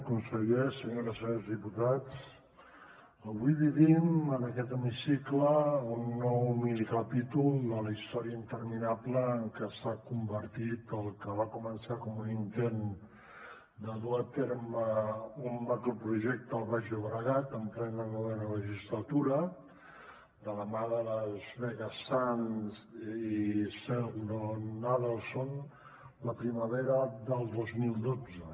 consellers senyores i senyors diputats avui vivim en aquest hemicicle un nou minicapítol de la història interminable en què s’ha convertit el que va començar com un intent de dur a terme un macroprojecte al baix llobregat en plena novena legislatura de la mà de las vegas sands i sheldon adelson la primavera del dos mil dotze